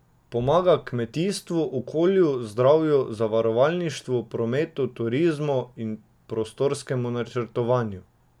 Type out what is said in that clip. Pomaga kmetijstvu, okolju, zdravju, zavarovalništvu, prometu, turizmu in prostorskemu načrtovanju.